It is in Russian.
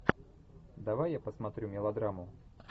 давай я посмотрю мелодраму